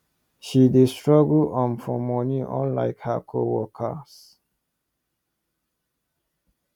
she dey struggle um for money unlike her co workers